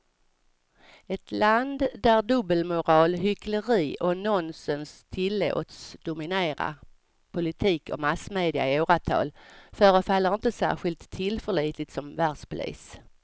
Ett land där dubbelmoral, hyckleri och nonsens tillåts dominera politik och massmedia i åratal förefaller inte särskilt tillförlitligt som världspolis.